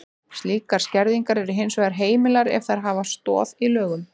Slíkar skerðingar eru hins vegar heimilar ef þær hafa stoð í lögum.